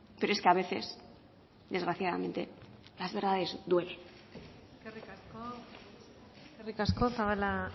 pero es que a veces desgraciadamente las verdades duelen eskerrik asko zabala